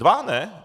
Dva, ne?